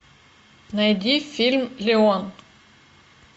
найди фильм леон